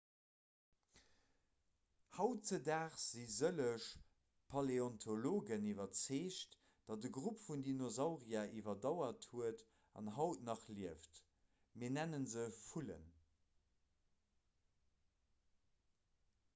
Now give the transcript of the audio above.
hautdesdaags si sëlleg paläontologen iwwerzeegt datt e grupp vun dinosaurier iwwerdauert huet an haut nach lieft mir nenne se vullen